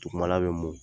Dugumana bɛ mun